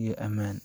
iyo ammaan.